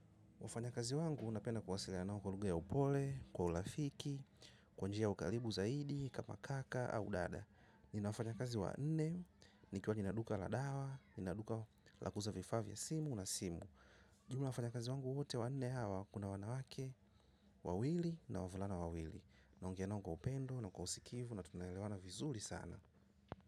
Wafanya kazi napenda kuwasiliana nao kwa njia ya upole kwa urafiki kwa njia ya ukaribu zaidi kama kaka ama dada. Nina wafanya kazi wa nne, nikiwa nina duka la dawa, nina duka la kuuza vifaa vya simu na simu. Lakini wafanya kazi wangu wote wa nne hawa, kuna wanawake, wawili na wavulana wawili. Naongea nao kwa upendo, na kwa usikivu, na tunaelewana vizuri sana.